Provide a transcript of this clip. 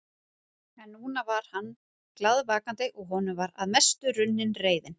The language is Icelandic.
En núna var hann glaðvakandi og honum var að mestu runnin reiðin.